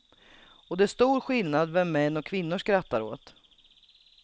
Och det är stor skillnad vem män och kvinnor skrattar åt.